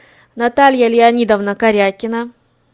наталья леонидовна карякина